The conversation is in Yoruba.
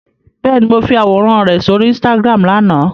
Bẹ́ẹ̀ni, mo fi àwòrán rẹ sóri Instagram lánàá.